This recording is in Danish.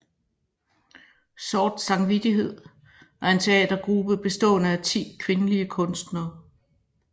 Sort Samvittighed er en teatergruppe bestående af 10 kvindelige kunstnere